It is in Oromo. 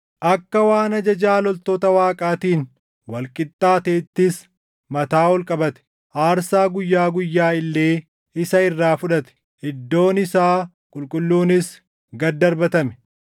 Akka waan ajajaa loltoota Waaqaatiin wal qixxaateettis mataa ol qabate; aarsaa guyyaa guyyaa illee isa irraa fudhate; iddoon isaa qulqulluunis gad darbatame.